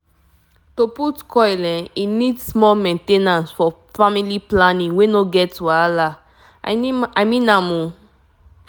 if you dey reason that copper coil e fit last for years no stress at all. na better way to block belle actually true true